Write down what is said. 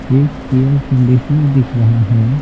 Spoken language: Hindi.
एक एयर कंडीशनर दिख रहा है।